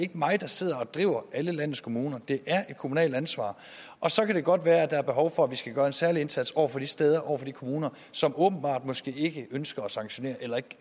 mig der sidder og driver alle landets kommuner det er et kommunalt ansvar og så kan det godt være at der er behov for at vi skal gøre en særlig indsats over for de steder over for de kommuner som åbenbart ikke ønsker at sanktionere eller ikke